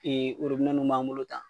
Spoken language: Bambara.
Ee porobilemu min b'an bolo tan